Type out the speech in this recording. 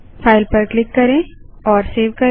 file पर hit करेंSaveसेब करें